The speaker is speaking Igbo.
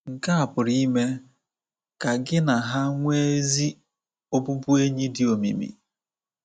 Nke a pụrụ ime ka gị na ha nwee ezi ọbụbụenyị dị omimi.